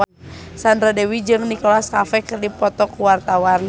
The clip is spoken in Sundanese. Sandra Dewi jeung Nicholas Cafe keur dipoto ku wartawan